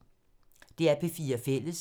DR P4 Fælles